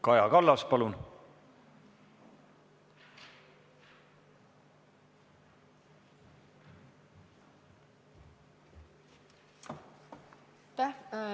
Kaja Kallas, palun!